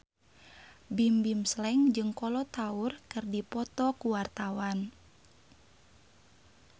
Bimbim Slank jeung Kolo Taure keur dipoto ku wartawan